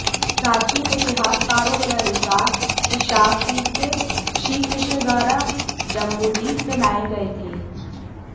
प्राचीन इतिहासकारों के अनुसार ये शाकद्वीप से श्री कृष्ण द्वारा जम्बूद्वीप में लाए गए थे